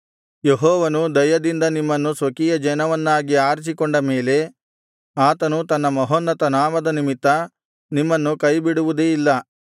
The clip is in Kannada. ಯೆಹೋವನು ದಯದಿಂದ ನಿಮ್ಮನ್ನು ಸ್ವಕೀಯಜನವನ್ನಾಗಿ ಆರಿಸಿಕೊಂಡ ಮೇಲೆ ಆತನು ತನ್ನ ಮಹೋನ್ನತ ನಾಮದ ನಿಮಿತ್ತ ನಿಮ್ಮನ್ನು ಕೈಬಿಡುವುದೇ ಇಲ್ಲ